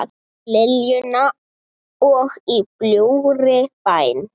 Liljuna og Í bljúgri bæn.